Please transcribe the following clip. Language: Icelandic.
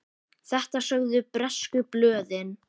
Þetta sögðu bresku blöðin.